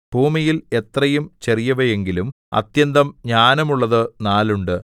ഭൂമിയിൽ എത്രയും ചെറിയവയെങ്കിലും അത്യന്തം ജ്ഞാനമുള്ളതു നാലുണ്ട്